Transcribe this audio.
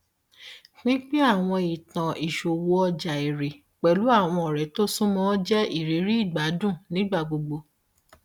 pínpín àwọn ìtàn ìṣòwò ọjà èrè pẹlú àwọn ọrẹ tó súnmọ jẹ ìrírí ìgbádùn nígbà gbogbo